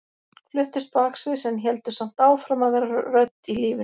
Fluttust baksviðs en héldu samt áfram að vera rödd í lífinu.